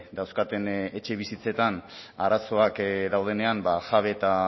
dauzkaten etxebizitzetan arazoak daudenean ba jabe eta